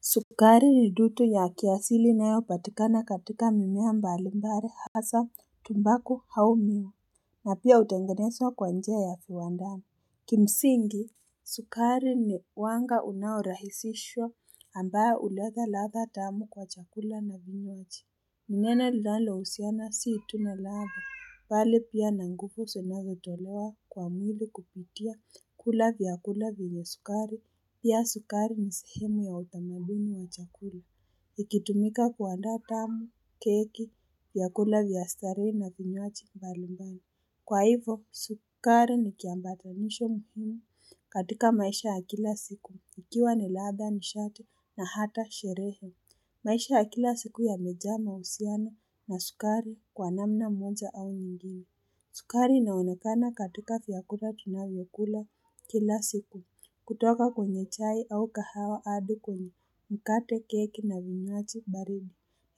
Sukari riduto ya kiasili inayo patikana katika mimea mbalimbali hasa tumbaku au miwa na pia utengeneswa kwa njia ya viwandani kimsingi sukari ni wanga unaorahisishwa ambao uledha ladha tamu kwa chakula na vinywaji ni neno linalohusiana si tu na ladha, bali pia na nguvu zinazotolewa kwa mwili kupitia kula vyakula vyenye sukari, pia sukari ni sehemu ya utamaduni wa chakula. Ikitumika kuandaa tamu, keki, vyakula vya starehe na vinywaji mbalimbani. Kwa hivyo, sukari ni kiambatanisho muhimu katika maisha ya kila siku, ikiwa ni ladha nishati na hata sherehe. Maisha ya kila siku yamejaa mahusiano na sukari kwa namna moja au nyingine sukari inaonekana katika vyakula tunavyokula kila siku. Kutoka kwenye chai au kahawa hadi kwenye, mkate, keki na vinywaji baridi.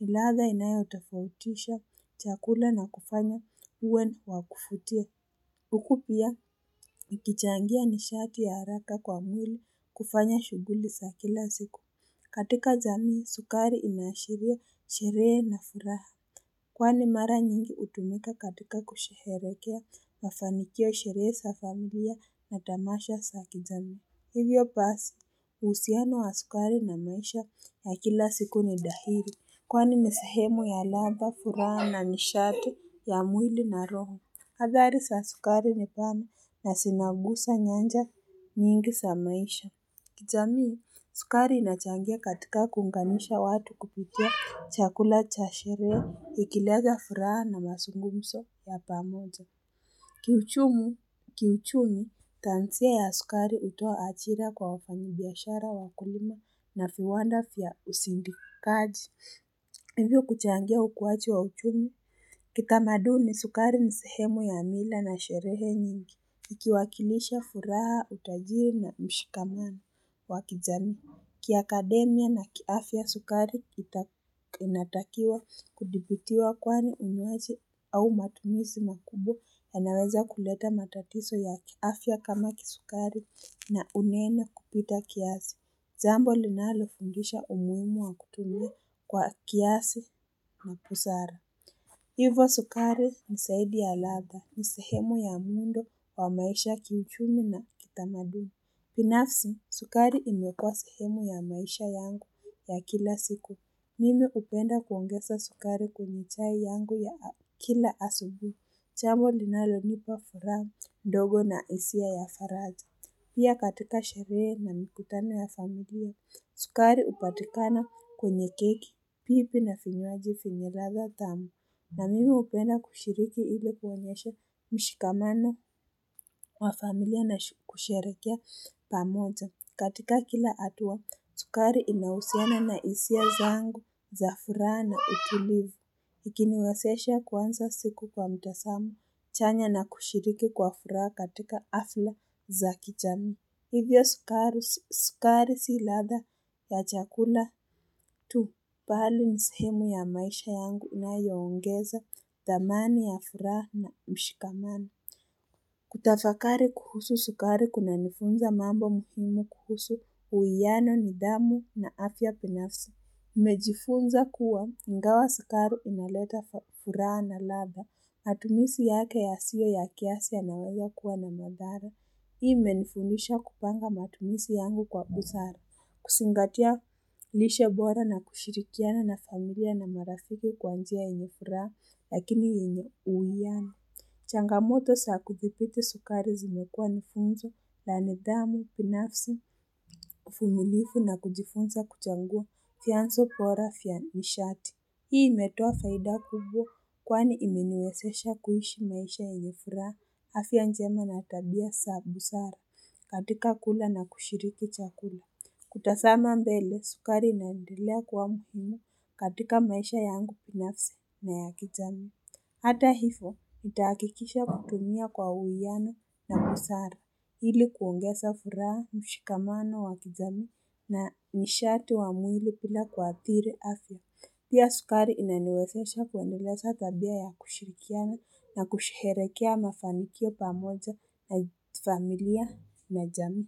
Ni Iadha inayotofautisha chakula na kufanya iwe ya kuvutia. Huku pia, ikichangia nishati ya haraka kwa mwili kufanya shughuli za kila siku. Katika jamii, sukari inaashiria sherehe na furaha Kwani mara nyingi hutumika katika kusherekea mafanikio, sherehe za familia na tamasha aa kijamii. Hivyo basi uhusiano wa sukari na maisha ya kila siku ni dhahili kwani ni sehemu ya ladha, furaha ni sharti ya mwili na roho. Hadhari za sukari ni pana na zinagusa nyanja nyingi za maisha kijamii, sukari inachangia katika kuungamisha watu kupitia chakula cha sherehe, ikileta furaha na mazungumzo ya pamoja. Kiuchumi, taanzia ya sukari hutoa ajira kwa wafanyi biashara, wakulima na viwanda vya uzindikaji. Hivyo kuchangia ukuaji wa uchumi. Kitamaduni, sukari ni sehemu ya mila na sherehe nyingi. Ikiwakilisha furaha, utajiri na mshikamano wa kijamii. Kiakademia na kiafya, sukari inatakiwa kudhibitiwa kwani unywaji au matumizi makubwa yanaweza kuleta matatizo ya kiafya kama kisukari na uneno kupita kiasi. Jambo linalofundisha umuhimu wa kutumia kwa kiasi na busara. Hivyo sukari zaidi ya ladha, ni sehemu ya muundo wa maisha, kiuchumi na kitamaduni. Binafsi, sukari imekuwa sehemu ya maisha yangu ya kila siku. Mimi hupenda kuongeza sukari kwenye chai yangu ya kila asubuhi. Jambo linalonipa furaha ndogo na hisia ya faraja. Pia katika sherehe na mikutano ya familia, sukari hupatikana kwenye keki, pipi na vinywaji vyenye ladha tamu. Na mimi hupenda kushiriki ili kuonyesha mshikamano wa familia na kusherekea pamoja. Katika kila hatua, sukari inahusiana na hisia zangu za furaha na utulivu. Ikiniwazesha kuanza siku kwa mtazamo. Chanya na kushiriki kwa furaha katika hafla za kijamii. Hivyo sukari si ladha ya chakula tu. Bali ni sehemu ya maisha yangu inayoongeza thamani ya furaha na ushikamano. Kutafakari kuhusu sukari kunanifunza mambo muhimu kuhusu uwiano, nidhamu na afya binafsi. Nimejifunza kuwa, ingawa sukari inaleta furaha na ladha. Matumizi yake yasiyo ya kiasi yanaweza kuwa na madhara. Hii imenifundisha kupanga matumizi yangu kwa busara. Kuzingatia lishe bora na kushirikiana na familia na marafiki kwa njia yenye furaha lakini yenye uwiano Changamoto saa kuthibiti sukari zimekuwa ni funzo la nidhamu, binafsi, uvumilivu na kujifunza kuchagua, vianzo bora vya nishati. Hii imetoa faida kubwa kwani imeniwezesha kuishi maisha ya yenye furaha, afya njema na tabia za busara, katika kula na kushiriki chakula. Kutazama mbele, sukari inaendelea kwa muhimu katika maisha yangu binafsi na ya kijamii. Hata hivyo, nitahakikisha kutumia kwa uwiano na busara ili kuongeza furaha, mshikamano wa kijamii na nishati wa mwili bila kuathiri afya. Pia sukari inaniwezesha kuendeleza tabia ya kushirikiani na kusherekea mafanikio pamoja na familia na jamii.